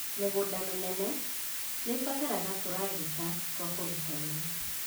Mĩgũnda mĩnene nĩĩbataraga tũragita twa kũruta wĩra